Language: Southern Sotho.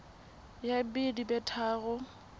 ya b di be tharo